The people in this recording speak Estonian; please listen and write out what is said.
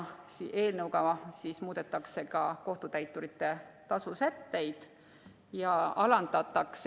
Eelnõuga muudetakse ka kohtutäituri tasu sätteid.